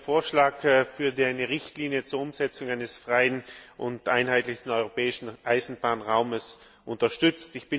Ich habe den Vorschlag für eine Richtlinie zur Umsetzung eines freien und einheitlichen europäischen Eisenbahnraums unterstützt.